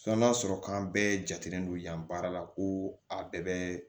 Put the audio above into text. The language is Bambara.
n'a sɔrɔ k'an bɛɛ jatelen don yan baara la ko a bɛɛ bɛ